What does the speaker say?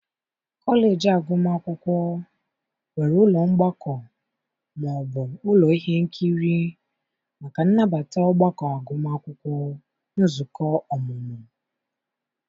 kọleji agụmakwụkwọ nwere ụlọ mgbakọ ma ọ bụ ụlọ ihe nkiri maka nnabata ọgbakọ agụmakwụkwọ, nzukọ ọmụmụ